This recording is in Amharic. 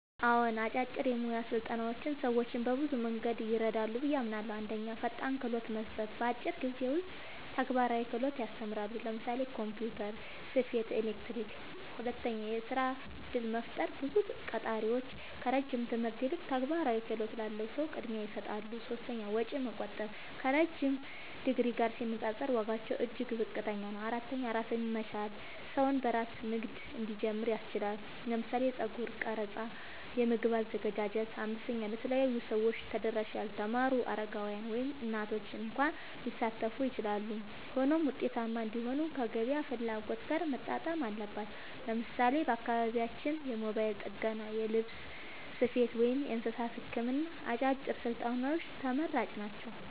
አዎን፣ አጫጭር የሙያ ስልጠናዎች ሰዎችን በብዙ መንገድ ይረዳሉ ብዬ አምናለሁ፦ 1. ፈጣን ክህሎት መስጠት – በአጭር ጊዜ ውስጥ ተግባራዊ ክህሎት ያስተምራሉ (ለምሳሌ ኮምፒውተር፣ ስፌት፣ ኤሌክትሪክ)። 2. የሥራ እድል መፍጠር – ብዙ ቀጣሪዎች ከረጅም ትምህርት ይልቅ ተግባራዊ ክህሎት ላለው ሰው ቅድሚያ ይሰጣሉ። 3. ወጪ መቆጠብ – ከረዥም ዲግሪ ጋር ሲነጻጸር ዋጋቸው እጅግ ዝቅተኛ ነው። 4. ራስን መቻል – ሰው በራሱ ንግድ እንዲጀምር ያስችላል (ለምሳሌ የጸጉር ቀረጻ፣ የምግብ አዘገጃጀት)። 5. ለተለያዩ ሰዎች ተደራሽ – ያልተማሩ፣ አረጋውያን፣ ወይም እናቶች እንኳ ሊሳተፉ ይችላሉ። ሆኖም ውጤታማ እንዲሆኑ ከገበያ ፍላጎት ጋር መጣጣም አለባቸው። ለምሳሌ በአካባቢያችን የሞባይል ጥገና፣ የልብስ ስፌት፣ ወይም የእንስሳት ሕክምና አጫጭር ስልጠናዎች ተመራጭ ናቸው።